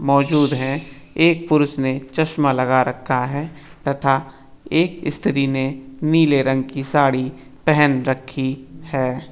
मौजूद है एक पुरुष ने चश्मा लगा रखा है तथा एक स्त्री ने नीले रंग की साड़ी पहन रखी है।